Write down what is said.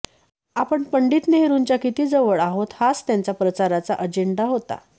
आपण पंडित नेहरूंच्या किती जवळ आहोत हाच त्यांचा प्रचाराचा अजेंडा होता